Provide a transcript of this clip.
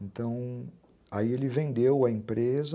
Então, aí ele vendeu a empresa